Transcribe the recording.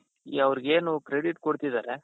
ಈ ಅವರಿಗೇನು credit ಕೊಡ್ತಿದ್ದಾರೆ.